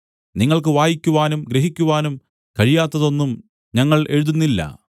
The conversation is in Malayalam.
നിങ്ങൾക്ക് വായിക്കുവാനും ഗ്രഹിക്കുവാനും കഴിയാത്തതൊന്നും ഞങ്ങൾ എഴുതുന്നില്ല